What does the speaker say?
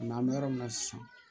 an bɛ yɔrɔ min na sisan